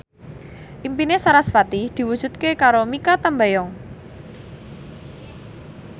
impine sarasvati diwujudke karo Mikha Tambayong